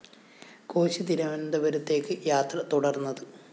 കോശി തിരുവനന്തപുരത്തേക്ക് യാത്ര തുടര്‍ന്നത്